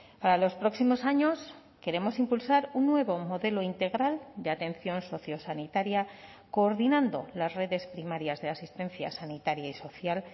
para los próximos años queremos impulsar un nuevo modelo integral de atención sociosanitaria coordinando las redes primarias de asistencia sanitaria y social